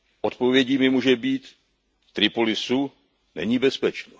Odpovědí mi může být V Tripolisu není bezpečno.